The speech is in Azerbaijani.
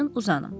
Uzanın.